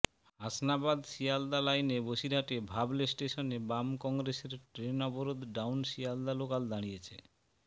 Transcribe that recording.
হাসনাবাদ শিয়ালদা লাইনে বসিরহাটে ভাবলে স্টেশনে বাম কংগ্রেসের ট্রেন অবরোধ ডাউন শিয়ালদা লোকাল দাঁড়িয়েছে